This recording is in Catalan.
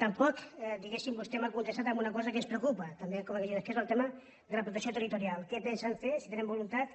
tampoc diguem·ne vostè m’ha contestat en una cosa que ens preocupa que és el tema de la protecció terri·torial què pensen fer si tenen voluntat